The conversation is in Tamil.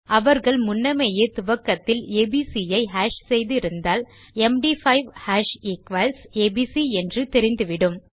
அவர்கள் முன்னமேயே துவக்கத்தில் ஏபிசி ஐ ஹாஷ் செய்திருந்தால் எம்டி5 ஹாஷ் ஈக்வல்ஸ் ஏபிசி என்று தெரிந்துவிடும்